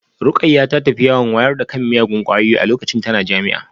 Rukayyah ta tafi yawon wayar da kan miyagun kwayoyi a lokacin tana jami'a